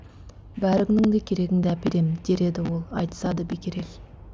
бәріңнің де керегіңді әперем дер еді ол айтысады бекер ел